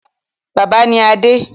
Bàbá ni Adé.